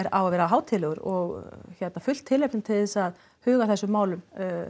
á að vera hátíðlegur og fullt tilefni til þess að huga að þessu málum